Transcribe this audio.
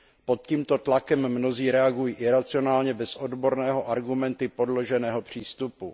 Pod tímto tlakem mnozí reagují iracionálně, bez odborného, argumenty podloženého přístupu.